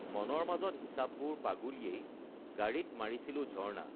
মনৰ মাজত হিচাপবোৰ পাগুলিয়েই গাড়ীত মাৰিছিলো ঝৰ্ণা